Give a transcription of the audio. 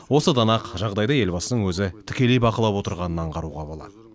осыдан ақ жағдайды елбасының өзі тікелей бақылап отырғанын аңғаруға болады